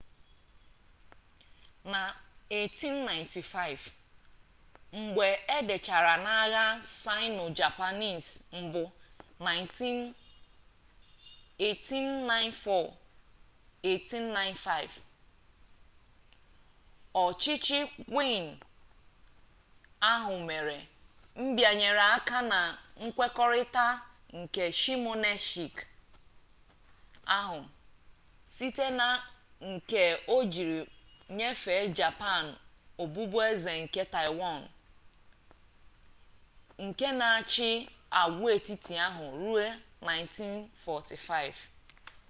na 1895 mgbe a dachara n’agha sino-japanese mbụ 1894-1895 ọchịchị qing ahụ mere mbịanye aka na nkwekọrịta nke shimonoseki ahụ site na nke o jiri nyefee japan ọbụbụeze nke taiwan nke na-achị agwaetiti ahụ ruo 1945